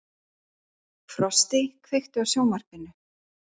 Frosti, kveiktu á sjónvarpinu.